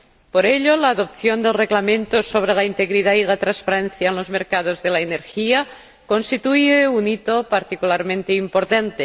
Por ello, la adopción del Reglamento sobre la integridad y la transparencia en los mercados de la energía constituye un hito particularmente importante.